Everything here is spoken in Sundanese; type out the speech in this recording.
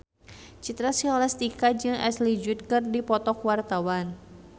Citra Scholastika jeung Ashley Judd keur dipoto ku wartawan